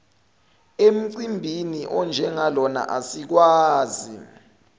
emcimbini onjengalona asikwazi